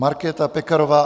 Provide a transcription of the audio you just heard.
Markéta Pekarová